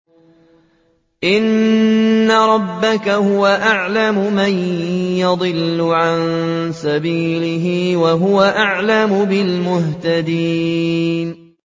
إِنَّ رَبَّكَ هُوَ أَعْلَمُ مَن يَضِلُّ عَن سَبِيلِهِ ۖ وَهُوَ أَعْلَمُ بِالْمُهْتَدِينَ